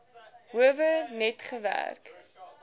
howe net gewerk